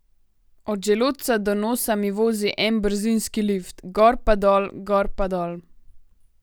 Od želodca do nosa mi vozi en brzinski lift, gor pa dol, gor pa dol.